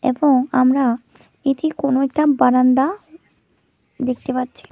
এবং আমরা এটি কোনো একটা বারান্দা দেখতে পাচ্ছি।